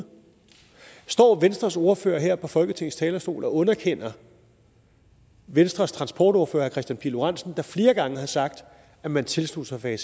står venstres ordfører her på folketingets talerstol og underkender venstres transportordfører herre kristian pihl lorentzen der flere gange har sagt at man tilslutter sig